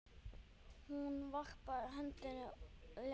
Hún varpaði öndinni léttar.